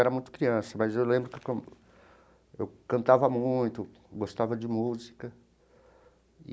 Eu era muito criança, mas eu lembro que eu eu cantava muito, gostava de música.